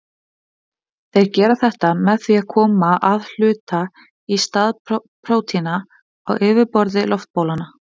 Þeir gera þetta með því að koma að hluta í stað prótína á yfirborði loftbólanna.